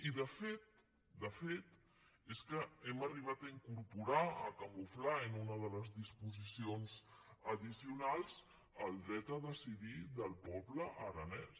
i de fet de fet és que hem arri·bat a incorporar a camuflar en una de les disposicions addicionals el dret a decidir del poble aranès